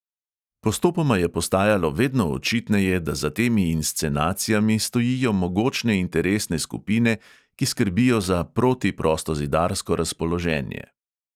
Postopoma je postajalo vedno očitneje, da za temi inscenacijami stojijo mogočne interesne skupine, ki skrbijo za protiprostozidarsko razpoloženje.